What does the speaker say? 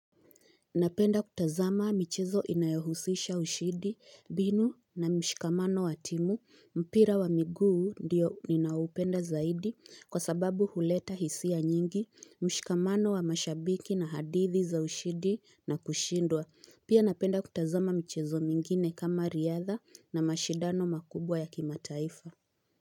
Napenda kutazama michezo inayohusisha ushindi, mbinu na mshikamano wa timu, mpira wa miguu ndiyo ninaupenda zaidi kwa sababu huleta hisia nyingi, mshikamano wa mashabiki na hadithi za ushindi na kushindwa. Pia napenda kutazama michezo mingine kama riadha na mashidano makubwa ya kimataifa.